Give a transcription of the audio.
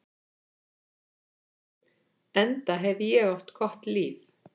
Enda hef ég átt gott líf.